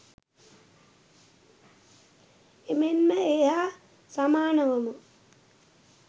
එමෙන්ම ඒ හා සමානවම